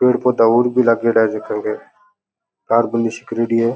पेड़ पौधा और भी लागेड़ा है झक के तारबंदी सी करेडी है।